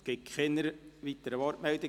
Es gibt keine weiteren Wortmeldungen.